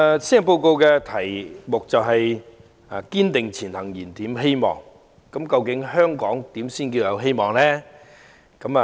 施政報告以"堅定前行燃點希望"為題，究竟香港如何才算是有希望呢？